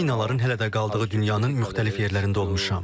Minaların hələ də qaldığı dünyanın müxtəlif yerlərində olmuşam.